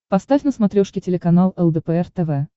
поставь на смотрешке телеканал лдпр тв